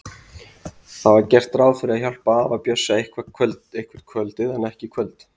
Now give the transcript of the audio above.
Það var gert ráð fyrir að hjálpa afa Bjössa eitthvert kvöldið en ekki í kvöld.